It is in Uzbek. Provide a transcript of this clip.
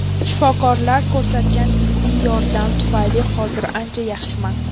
Shifokorlar ko‘rsatgan tibbiy yordam tufayli hozir ancha yaxshiman”.